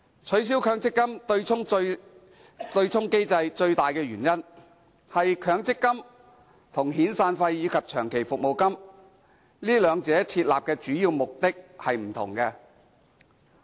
取消強積金對沖機制的最大原因，是設立強積金與遣散費及長期服務金兩者的主要目的並不相同。